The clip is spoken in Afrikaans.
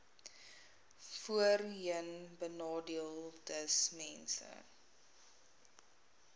voorheenbenadeeldesmense